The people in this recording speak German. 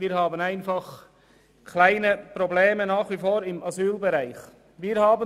Wir haben im Asylbereich nach wie vor kleine Probleme.